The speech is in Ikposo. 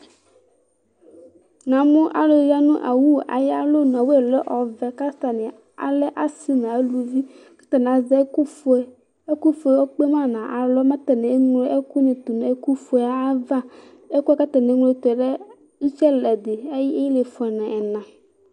Na mʊ alʊ aya ŋʊ awʊ ayalɔbʊ Awʊ lɛ ɔʋɛ ƙataŋɩ alɛ asɩ ŋʊ ʊlʊʋɩ ƙataŋɩ azɛ ɛƙʊ fʊe Ɛƙʊ fʊe ekpe ŋʊ alɔ ƙataŋɩ eglo ɛkʊ ya ŋʊ ɛkʊ fʊebava Ɛkʊ kata neglotʊ ɔlɛ ʊtsɩ ɛlɛdɩ ɛƴɩ ɩlɩefʊa ŋɛŋa